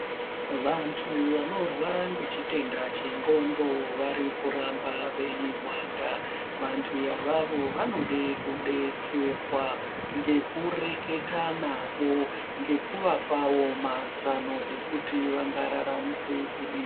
Vantu vanorwara ngechitenda chendxondo vari kuramba veyi wanda. Vantu avavo vanode kudetserwa ngekureketa navo ngekuvapawo mazano ekuti vangararamise kudini.